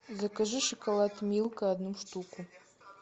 закажи шоколад милка одну штуку